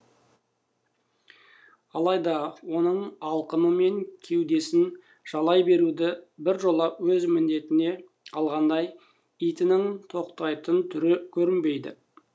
алайда оның алқымы мен кеудесін жалай беруді біржола өз міндетіне алғандай итінің тоқтайтын түрі көрінбейді